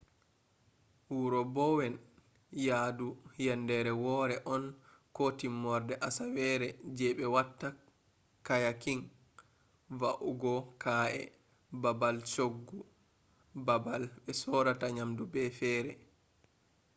wuro bowen yaadu yendere wore on ko timmorde asawere je be watta kayaking va’ugo ka’e babal shoggu babal be sorrata nyamdu be fere